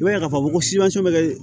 I b'a ye k'a fɔ ko bɛ kɛ